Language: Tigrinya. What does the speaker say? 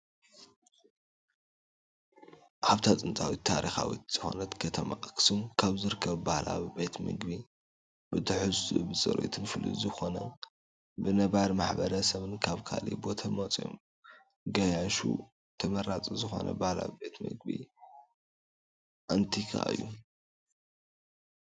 ኣብታ ጥንታዊትን ታሪኻዊትን ዝኾነት ከተማ ኣክሱም ካብ ዝርከቡ ባህላዊ ቤት ምግቢ ብትሕዝትኡን ብፅሬቱን ፍሉይ ዝኾነነ ብነባሪ ማሕበረ ሰብን ካብ ካሊእ ቦታ ዝመፁ ገያሹን ተመራፂ ዝኾነ ባህላዊ ቤት ምግቢ ኣንቲካ እዩ።